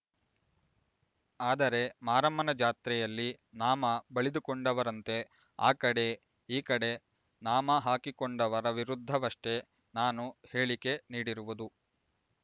ಆದರೆ ಮಾರಮ್ಮನ ಜಾತ್ರೆಯಲ್ಲಿ ನಾಮ ಬಳಿದುಕೊಂಡವರಂತೆ ಆ ಕಡೆ ಈ ಕಡೆ ನಾಮ ಹಾಕಿಕೊಂಡವರ ವಿರುದ್ಧವಷ್ಟೇ ನಾನು ಹೇಳಿಕೆ ನೀಡಿರುವುದು